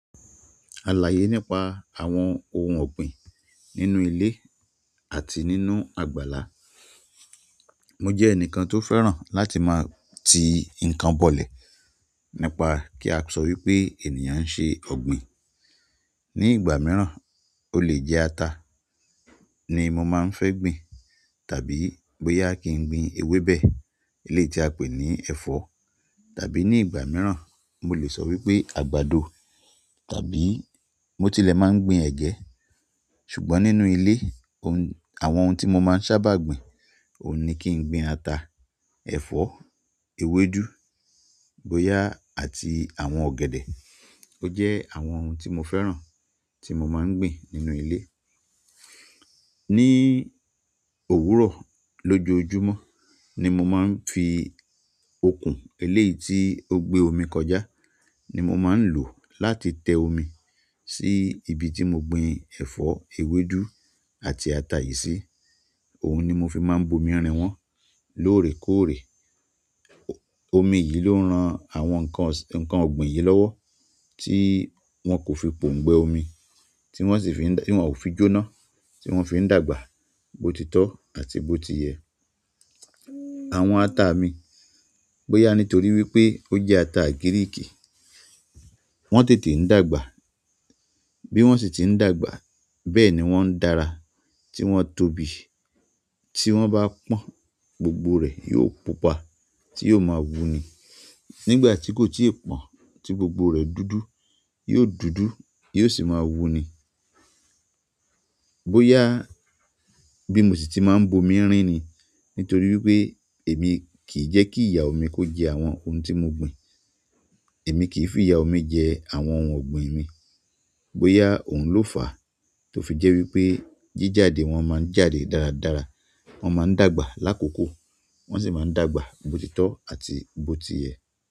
Alaye nípa àwọn ohun ọ̀gbìn nínú ilé àti nínú àgbàlá. Mo jẹ́ ẹnìkan tó fẹ́ràn láti máa ti nǹkan bọ̀lẹ̀ nípa kí a sọ wípé ènìyàn ń ṣe ọ̀gbìn. Ni ìgbà mìíràn, ó lè jẹ́ ata ni mo máa ń fẹ́ gbìn tàbí bóyá kí n gbìn ewébẹ̀, eléyìí tí a pè ní ẹ̀fọ́. Tàbí ní ìgbà mìíràn, mo lè sọ wípé àgbàdo tàbí mo tilẹ̀ máa ń gbìn ẹ̀gẹ́. Ṣùgbọ́n nínú ilé, àwọn ohun tí mo máa ń sábà gbìn ò ní kí n gbìn ata, ẹ̀fọ́, ewédú, bóyá àti àwọn ọ̀gẹ̀dẹ̀. Ó jẹ́ àwọn ohun tí mo fẹ́ràn tí mo máa ń gbìn nínú ilé. Ni òwúrọ̀ lójoojúmọ́ ni mo máa ń fi okùn eléyìí tí ó gbé omi kọjá ni mo máa ń lò láti tẹ omi sí ibi tí mo gbin ẹ̀fọ́, ewédú àti ata yìí sí. Òhun ni mo fi máa ń bomi rìn wọ́n lóòrèkóòrè. Omi yìí ló ń ran àwọn ǹkan ọ̀gbìn yìí lọ́wọ́ tí wọ́n kò fi pòǹgbẹ́ omi, tí wọ́n ò fi jó ná, tí wọ́n fi ń dàgbà botitọ́ àti botiyẹ̀. Àwọn ata mi, bóyá nítorí wípé ó jẹ́ ata Gíríìkì, wọ́n tètè ń dàgbà. Bí wọ́n sì ti ń dàgbà, bẹ́ẹ̀ ni wọ́n ń dára tí wọ́n tóbi. Tí wọ́n bá pọ́n, gbogbo rẹ̀ yóò pupa tí yóò máa wú ni. Nígbà tí kò tí ì pọ́n tí gbogbo rẹ̀ dúdú, yóò dúdú yóò sì máa wú ni. Bóyá bí mo sì ti máa ń bomi rìn ni nítorí wípé èmi kì í jẹ́ kí ìyà mi kó jẹ àwọn ohun tí mo gbìn. Èmi kì í fi ìyà omi jẹ àwọn ohun ọ̀gbìn mi. Bóyá òhun ló fàá tó fi jẹ́ wípé jíjade wọn máa ń jáde dáradára. Wọn máa ń dàgbà lákòókò, wọ́n sì máa ń dàgbà botitọ́ àti botiyẹ̀.